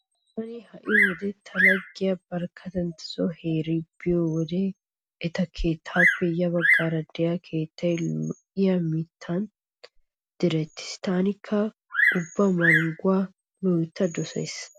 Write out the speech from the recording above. Taani ha"i wode ta laggiya Barkkatantt heeri biyo wode eta keettappe ya baggan diya keettay lo'iya mittatun direttiis. Taanikka ubba mangguwa loytta dosaas.